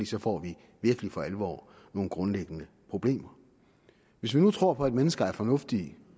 så får vi virkelig for alvor nogle grundlæggende problemer hvis man nu tror på at mennesker er fornuftige